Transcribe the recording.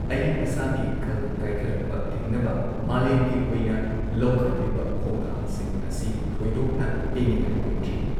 ꯑꯏꯪ ꯑꯁꯥꯒꯤ ꯈꯜ ꯀꯥꯏꯊꯔꯛꯄ ꯊꯤꯡꯅꯕ ꯃꯥꯂꯦꯝꯒꯤ ꯑꯣꯏꯅ ꯂꯧꯈꯠꯂꯤꯕ ꯈꯣꯡꯊꯥꯡꯁꯤꯡ ꯑꯁꯤ ꯊꯣꯏꯗꯣꯛꯅ ꯄꯦꯟꯅꯤꯡꯉꯥꯏ ꯑꯣꯏꯗ꯭ꯔꯤ ꯫